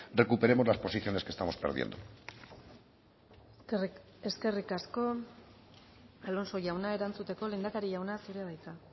recuperemos las posiciones que estamos perdiendo eskerrik asko alonso jauna erantzuteko lehendakari jauna zurea da hitza